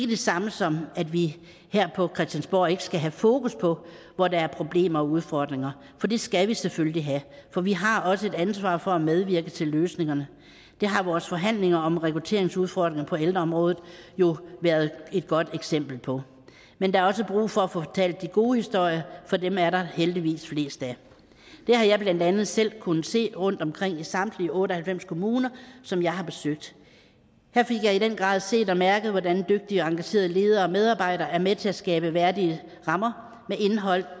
det samme som at vi her på christiansborg ikke skal have fokus på hvor der er problemer og udfordringer det skal vi selvfølgelig have for vi har også et ansvar for at medvirke til løsningerne det har vores forhandlinger om rekrutteringsudfordringer på ældreområdet jo været et godt eksempel på men der er også brug for at få fortalt de gode historier for dem er der heldigvis flest af det har jeg blandt andet selv kunnet se rundtomkring i samtlige otte og halvfems kommuner som jeg har besøgt her fik jeg i den grad set og mærket hvordan dygtige og engagerede ledere og medarbejdere er med til at skabe værdige rammer med indhold